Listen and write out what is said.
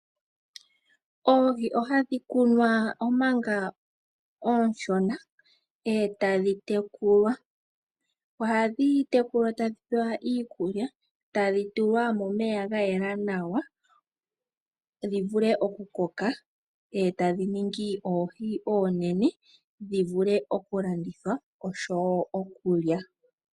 Oohi ohadhi kunwa omanga oonshona, e tadhi tekulwa. Ohadhi tekulwa tadhi pewa iikulya, tadhi tulwa momeya ga yela nawa dhi vule okukoka, e tadhi ningi oohi oonene dhi vule okulandithwa oshowo okulya.